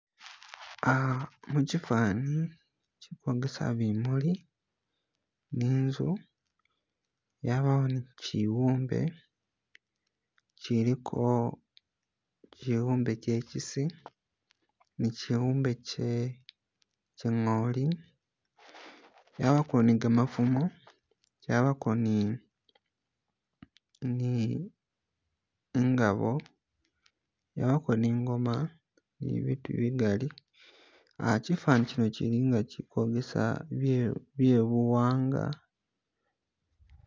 Aha muchifani chili kwogesa bimuli ni inzu yabawo ni chibumbe chiliko chibumbe kyechisi ni chibumbe kye kye ngooli yabako ni gamafumo kyabako ni ni ingabo yabako ni ingoma ni biitu bigaali uh chifani chino kyili nga chiliko bisaala bye buwangwa